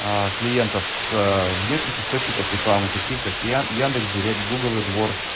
клиентов с внешних источников рекламы таких как ты яндекс директ гугл эдвордс